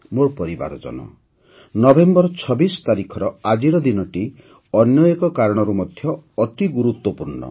ମୋର ପରିବାରଜନ ନଭେମ୍ବର ୨୬ ତାରିଖର ଆଜିର ଦିନଟି ଅନ୍ୟ ଏକ କାରଣରୁ ମଧ୍ୟ ଅତି ଗୁରୁତ୍ୱପୂର୍ଣ୍ଣ